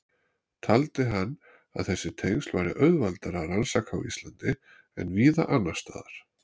Taldi hann að þessi tengsl væri auðveldara að rannsaka á Íslandi en víða annars staðar.